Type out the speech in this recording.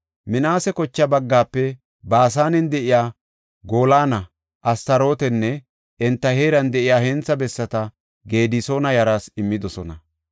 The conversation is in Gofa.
Minaase kocha baggaafe Baasanen de7iya Goolana, Astarootanne enta heeran de7iya hentha bessata Gedisoona yaraas immidosona.